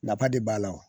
Nafa de b'a la wo